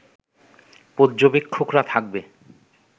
পর্যবেক্ষকরা থাকবে